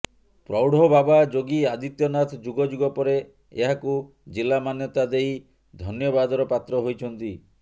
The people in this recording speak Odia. ପ୍ରୌଢବାବା ଯୋଗୀ ଆଦିତ୍ୟନାଥ ଯୁଗଯୁଗ ପରେ ଏହାକୁ ଜିଲା ମାନ୍ୟତା ଦେଇ ଧନ୍ୟବାଦର ପାତ୍ର ହୋଇଛନ୍ତି